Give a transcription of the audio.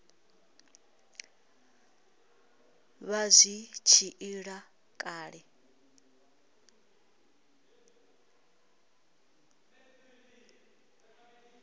vha zwi tshi ila kale